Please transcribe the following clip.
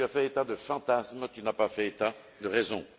Tu as fait état de fantasmes, tu n'as pas fait état de raisons.